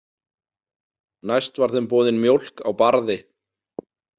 Næst var þeim boðin mjólk á Barði.